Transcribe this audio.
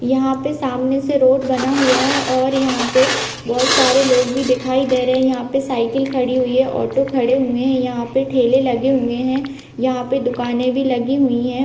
यहां पे सामने से रोड बना हुआ है और यहां पे बहुत सारे लोग भी दिखाई दे रहे हैं यहां पे साइकिल खड़ी हुई है ऑटो खड़े हुए हैं यहां पे ठेले लगे हुए हैं यहां पे दुकाने भी लगी हुई है।